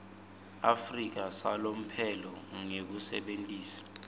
afrika salomphelo ngekusebentisa